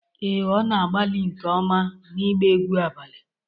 Ee, ọ na-agbalị nke ọma n'ịgba egwu abalị